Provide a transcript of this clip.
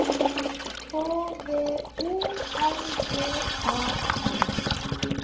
H V O R D A N